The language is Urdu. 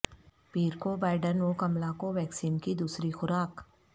پیر کو بائیڈن و کملا کوویکسین کی دوسری خوراک